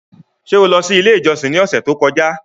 Ṣe o lọ si ile ijọsin ni ọsẹ to kọja?